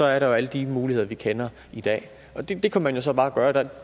er der jo alle de muligheder vi kender i dag og det kan man jo så bare gøre det